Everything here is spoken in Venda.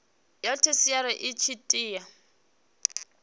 ya theshiari i tshi tea